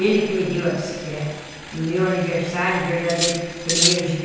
Ele que me deu a bicicleta... no meu aniversário verdadeiro, primeiro de